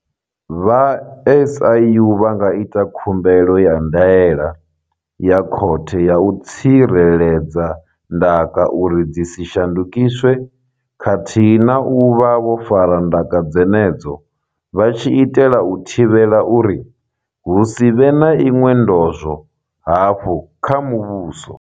Vha SIU vha nga ita khumbelo ya ndaela ya khothe ya u tsireledza ndaka uri dzi si shandukiswe khathihi na u vha vho fara ndaka dzenedzo vha tshi itela u thivhela uri hu si vhe na iṅwe ndozwo hafhu kha muvhuso.